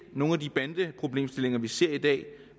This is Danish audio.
nogen af de bandeproblemstillinger vi ser i dag